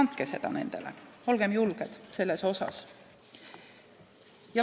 Andke seda nendele, olgem selles julged!